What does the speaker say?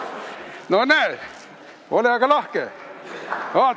No näe, ole aga lahke!